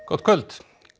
gott kvöld